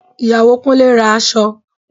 Ìyàwó Kúnlé ra aṣọ